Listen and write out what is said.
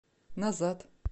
назад